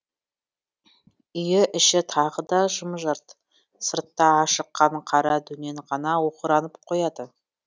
үй іші тағы да жым жырт сыртта ашыққан қара дөнен ғана оқыранып қояды